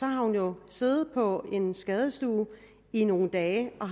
har hun jo siddet på en skadestue i nogle dage og